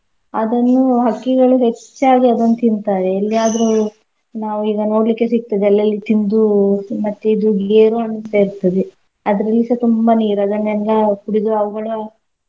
ಅದನ್ನು ಹಕ್ಕಿಗಳು ಹೆಚ್ಚಾಗಿ ಅದನ್ನ್ ತಿಂತಾವೆ ಎಲ್ಲಿಯಾದ್ರೂ ನಾವೀಗ ನೋಡ್ಲಿಕ್ಕೆ ಸಿಗ್ತದೆ ಅಲ್ಲಲ್ಲಿ ತಿಂದೂ ಮತ್ತೆ ಇದು ಗೇರು ಹಣ್ಣು ಅಂತ ಇರ್ತದೆ ಅದ್ರಲ್ಲಿಸ ತುಂಬಾ ನೀರಲ್ಲ ಕುಡಿದು ಅವ್ಗಳು.